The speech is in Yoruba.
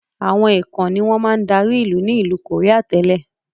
Àwọn èèkàn ni wọn máa dárí ilu ni ilu koría tẹ́lẹ̀.